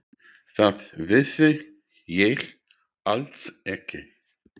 Það vissi ég alls ekki.